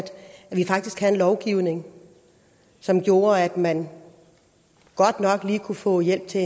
vi faktisk havde en lovgivning som gjorde at man godt nok lige kunne få hjælp til